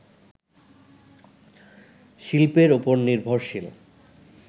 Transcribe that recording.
শিল্পের ওপর নির্ভরশীল